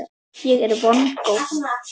Ég er vongóð.